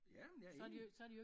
Ja men jeg er enig